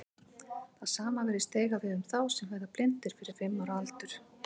Það sama virðist eiga við um þá sem verða blindir fyrir fimm ára aldur.